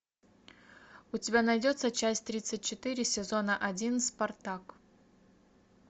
у тебя найдется часть тридцать четыре сезона один спартак